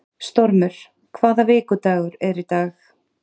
Stormur, hvaða vikudagur er í dag?